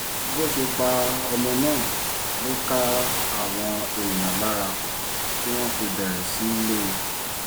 bó ṣe pa ọmọ náà ló ká àwọn èèyàn lára tí wọ́n fi bẹ̀rẹ̀ sí í lé e